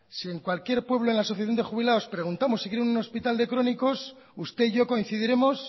si en cualquier pueblo en la asociación de jubilados preguntamos si quieren un hospital de crónicos usted y yo coincidiremos